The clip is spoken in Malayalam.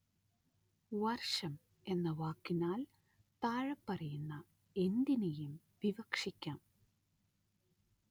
വര്‍ഷം എന്ന വാക്കിനാല്‍ താഴെപ്പറയുന്ന എന്തിനേയും വിവക്ഷിക്കാം